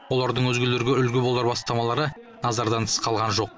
олардың өзгелерге үлгі болар бастамалары назардан тыс қалған жоқ